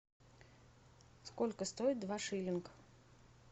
сколько стоит два шиллинг